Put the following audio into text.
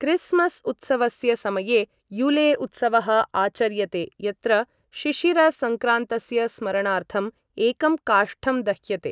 Christmas उत्सवस्य समये Yule उत्सवः आचर्यते यत्र शिशिर संक्रान्तस्य स्मरणार्थं एकं काष्ठं दह्यते ।